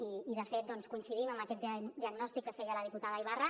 i de fet coincidim amb aquest diagnòstic que feia la diputada ibarra